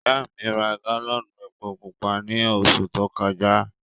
Ìyà mi rá gálọ́nù èpò púpà ní ọṣù tó kọja.